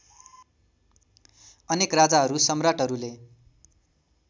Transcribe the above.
अनेक राजाहरू सम्राटहरूले